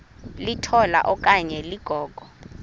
litola okanye ligogo